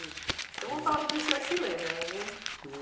Então, vamos falar do que o senhor se lembra, não é mesmo?